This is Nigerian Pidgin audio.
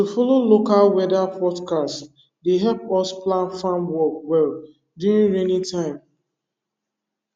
to follow local weather fotcast dey help us plan farm work well during rainy time